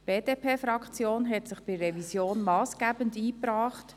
Die BDP-Fraktion hat sich bei der Revision massgebend eingebracht.